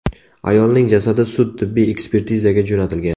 Ayolning jasadi sud-tibbiy ekspertizaga jo‘natilgan.